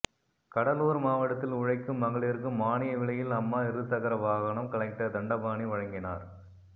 கடலூர் மாவட்டத்தில் உழைக்கும் மகளிருக்கு மானிய விலையில் அம்மா இருசக்கர வாகனகம் கலெக்டர் தண்டபானி வழங்கினார்